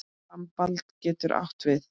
Rambald getur átt við